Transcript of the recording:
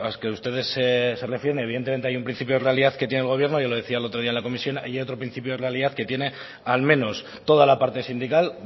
que ustedes se refieren evidentemente hay un principio de realidad que tiene el gobierno ya lo decía el otro día en la comisión hay otro principio de realidad que tiene al menos toda la parte sindical